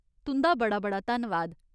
तुं'दा बड़ा बड़ा धन्नवाद।